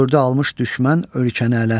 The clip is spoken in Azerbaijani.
Gördü almış düşmən ölkəni ələ.